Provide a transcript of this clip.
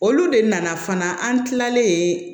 Olu de nana fana an kilalen